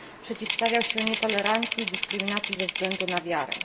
Przeciwstawiał się nietolerancji, dyskryminacji ze względu na wiarę.